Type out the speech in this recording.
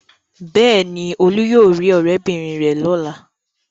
Bẹ́ẹ̀ ni, Olú yóò rí ọ̀rẹ́bìnrin rẹ̀ lọ́la.